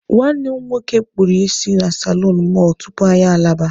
Nwanne m nwoke kpụrụ isi na salonu mọlụ tupu anyị alaba.